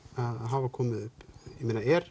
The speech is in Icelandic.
hafa komið upp er